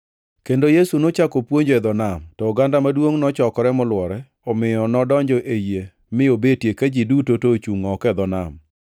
Kendo Yesu nochako puonjo e dho nam. To oganda maduongʼ nochokore molwore omiyo nodonjo ei yie mi obetie ka ji duto to ochungʼ oko e dho nam.